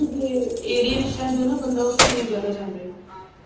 ਜਿਥੇ ਏਰੀਏ ਵਿੱਚ ਰਹਿੰਦੇ ਹੋ ਨਾ ਬੰਦਾ ਉਥੇ ਜਾਦਾ ਏ